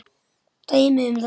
Dæmi um þetta